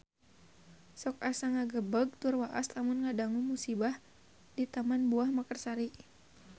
Sok asa ngagebeg tur waas lamun ngadangu musibah di Taman Buah Mekarsari